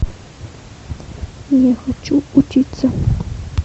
я хочу учиться